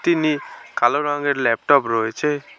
তিনি কালো রঙের ল্যাপটপ রয়েছে।